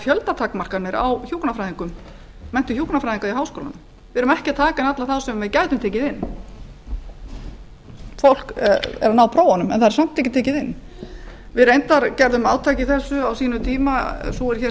fjöldatakmarkanir í hjúkrunarfræðideild við háskóla íslands við tökum ekki alla inn sem við getum tekið á móti fólk nær prófum en fær þó ekki inngöngu við gerðum reyndar átak á sínum tíma sú er hér